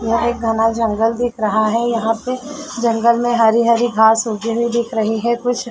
यहाँ एक घना जंगल दिख रहा है यहाँ पे जंगल में हरी हरी घास उगी हुई दिख रही है कुछ।